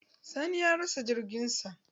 Sani ya rasa jirgin sa.